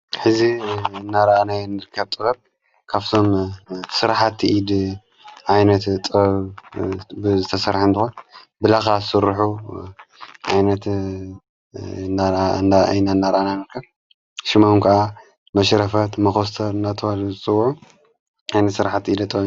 ሕዚ እናርኣናይ እንልከብ ጥበብ ካፍቶም ሥርሓቲ ኢድ ዓይነት ጥበብ ብዘተሠርሐንትኾን ብላኻ ሠርኁ ኣይነት ይነ እናራአና ንርከብ ሽሞም ከዓ መሽረፈ፣ መኮስተር አናተበሃሉ ዝፅውዕ ኣይነት ሥርሓቲ ኢደ ጥበብ